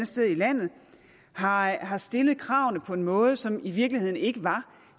sted i landet har har stillet kravene på en måde som i virkeligheden ikke var